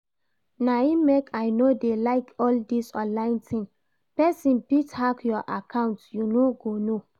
Na im make I no dey like all this online thing, person fit hack your account you no go know